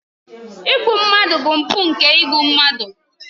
Igbu mmadụ bụ mpụ nke igbu mmadụ.